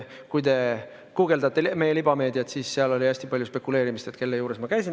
Kui te guugeldate meie libameediat, siis seal oli hästi palju spekuleerimist, kelle juures ma käisin.